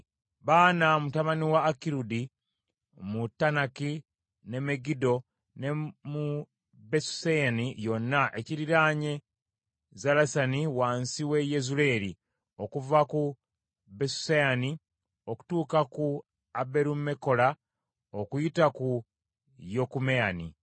Baana mutabani wa Akirudi, mu Taanaki ne Megiddo, ne mu Besuseyani yonna ekiriraanye Zalesani wansi w’e Yezuleeri, okuva ku Besuseyani okutuuka ku Aberumekola okuyita ku Yokumyamu;